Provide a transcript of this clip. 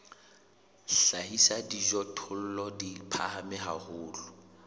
hlahisa dijothollo di phahame haholo